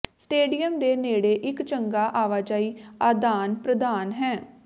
stadium ਦੇ ਨੇੜੇ ਇੱਕ ਚੰਗਾ ਆਵਾਜਾਈ ਆਦਾਨ ਪ੍ਰਦਾਨ ਹੈ